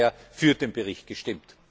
Ich habe daher für den Bericht gestimmt.